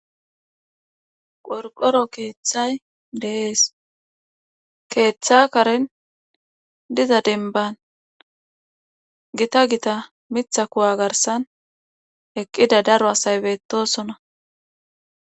Qorqqoro keethay de7ees keetha karen diza dembban gita gita mitha kuwa garssan eqqida daro asay beettoosona.